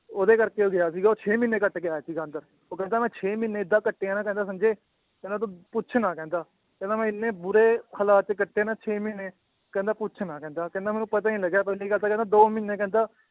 ਉਹਦੇ ਕਰਕੇ ਉਹ ਗਿਆ ਸੀਗਾ ਉਹ ਛੇ ਮਹੀਨੇ ਕੱਟਕੇ ਆਇਆ ਸੀਗਾ ਅੰਦਰ, ਉਹ ਕਹਿੰਦਾ ਮੈਂ ਛੇ ਮਹੀਨੇ ਏਦਾਂ ਕੱਟੇ ਆ ਨਾ ਕਹਿੰਦਾ ਸੰਜੇ ਕਹਿੰਦਾ ਤੂੰ ਪੁੱਛ ਨਾ ਕਹਿੰਦਾ, ਕਹਿੰਦਾ ਮੈਂ ਇੰਨੇ ਬੁਰੇ ਹਾਲਾਤ ਕੱਟੇ ਨਾ ਛੇ ਮਹੀਨੇ ਕਹਿੰਦਾ ਪੁੱਛ ਨਾ ਕਹਿੰਦਾ ਕਹਿੰਦਾ ਮੈਨੂੰ ਪਤਾ ਹੀ ਨੀ ਲੱਗਿਆ ਪਹਿਲੀ ਗੱਲ ਤਾਂ ਕਹਿੰਦਾ ਦੋ ਮਹੀਨੇ ਕਹਿੰਦਾ